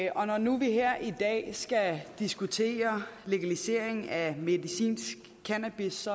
og når nu vi her i dag skal diskutere legalisering af medicinsk cannabis